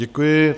Děkuji.